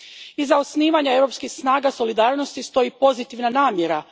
Iza osnivanja europskih snaga solidarnosti stoji pozitivna namjera.